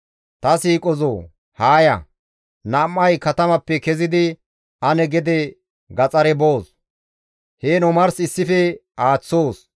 Ta siiqozoo! haa ya; nam7ay katamappe kezidi ane gede gaxare boos; heen omars ane issife aaththoos.